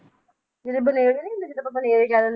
ਜਿਹੜੇ ਬਨੇਰੇ ਨੀ ਹੁੰਦੇ ਜਿਦਾਂ ਆਪਾਂ ਬਨੇਰੇ ਕਹਿ